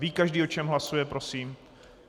Ví každý, o čem hlasuje, prosím?